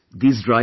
yes